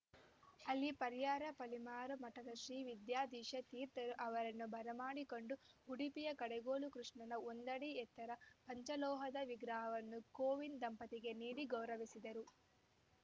ಅಲ್ಲಿ ಪರ್ಯಾಯ ಪಲಿಮಾರು ಮಠದ ಶ್ರೀ ವಿದ್ಯಾಧೀಶ ತೀರ್ಥರು ಅವರನ್ನು ಬರಮಾಡಿಕೊಂಡು ಉಡುಪಿಯ ಕಡೆಗೋಲು ಕೃಷ್ಣನ ಒಂದಡಿ ಎತ್ತರದ ಪಂಚಲೋಹದ ವಿಗ್ರಹವನ್ನು ಕೋವಿಂದ್‌ ದಂಪತಿಗೆ ನೀಡಿ ಗೌರವಿಸಿದರು